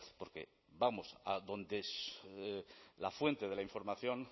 porque vamos a donde la fuente de la información